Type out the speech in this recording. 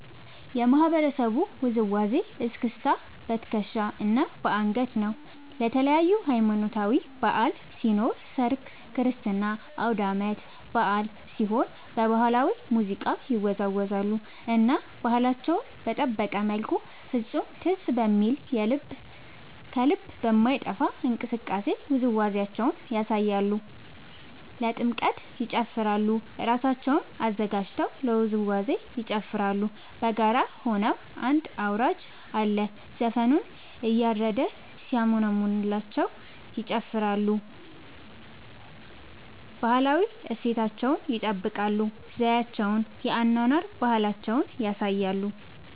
የማህበረሰቡ ውዝዋዜ እስክስታ በትከሻ እና በአንገት ነው። ለተለያዪ ሀማኖታዊ በዐል ሲኖር ሰርግ ክርስትና አውዳመት በአል ሲሆን በባህላዊ ሙዚቃ ይወዛወዛሉ እና ባህላቸውን በጠበቀ መልኩ ፍፁም ትዝ በሚል ከልብ በማይጠፍ እንቅስቃሴ ውዝዋዜያቸውን ያሳያሉ። ለጥምቀት ይጨፉራሉ እራሳቸውን አዘጋጅተው ለውዝዋዜ ይጨፋራሉ በጋራ ሆነው አንድ አውራጅ አለ ዘፈኑን እያረደ ሲያሞነምንላቸው ይጨፍራሉ። ባህላዊ እሴታቸውን ይጠብቃል ዘዪቸውን የአኗኗር ባህላቸውን ያሳያሉ።